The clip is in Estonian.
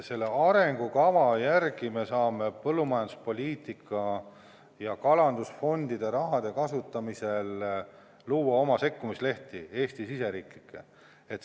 Selle arengukava järgi me saame põllumajanduspoliitika ja kalandusfondide raha kasutamisel luua oma sekkumislehti, Eesti riigi siseseid.